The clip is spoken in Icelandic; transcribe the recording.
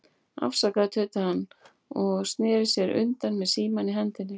Afsakaðu, tautaði hann og sneri sér undan með símann í hendinni.